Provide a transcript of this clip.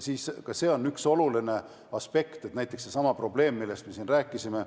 See on üks oluline aspekt, et ilmneks ka näiteks seesama probleem, millest me siin rääkisime.